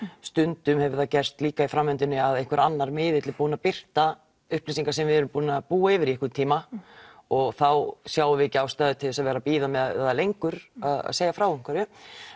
stundum hefur það gerst líka í framvindunni að einhver annar miðill er búinn að birta upplýsingar sem við erum búin að búa yfir í einhvern tíma og þá sjáum við ekki ástæðu til að vera að bíða með það lengur að segja frá einhverju